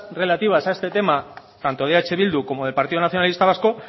relativas a este tema tanto de eh bildu como del partido nacionalista vasco